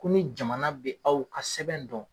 Komi jamana bɛ aw ka sɛbɛn dɔn.